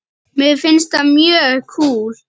Mér finnst það mjög kúl.